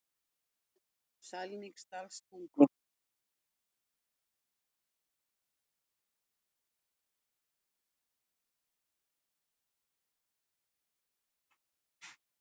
Sælingsdalstungu